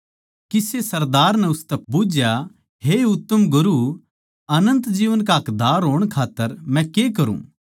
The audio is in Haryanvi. किसे सरदार नै उसतै बुझ्झया हे उत्तम गुरू अनन्त जीवन का हकदार होण खात्तर मै के करूँ